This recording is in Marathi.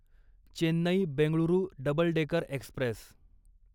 Chennai Bengaluru double decker Express